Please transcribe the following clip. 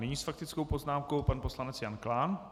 Nyní s faktickou poznámkou pan poslanec Jan Klán.